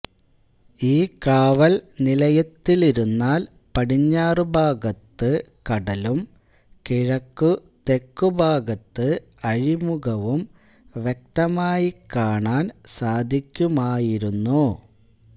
ഈ കാവൽ നിലയത്തിലിരുന്നാൽ പടിഞ്ഞാറു ഭാഗത്ത് കടലും കിഴക്കുതെക്കു ഭാഗത്ത് അഴിമുഖവും വ്യക്തമായിക്കാണാൻ സാധിക്കുമായിരുന്നു